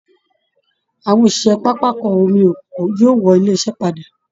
Àwọn òṣìṣẹ́ pápákọ omi Èkó yóò wọlé iṣẹ́ padà